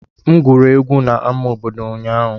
M egwuri egwu na ama obodo ụnyaahụ.